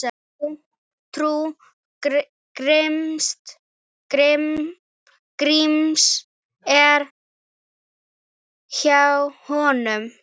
Trú Gríms er hjá honum.